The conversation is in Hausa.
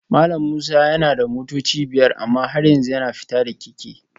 Malam Musa yana da motoci biyar amma har yanzu yana fita da keke